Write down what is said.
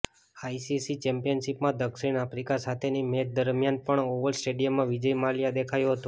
ICC ચેમ્પિયનશીપમાં દક્ષિણ Africa સાથેની મેચ દરમિયાન પણ ઓવલ સ્ટેડીયમમાં વિજય માલ્યા દેખાયો હતો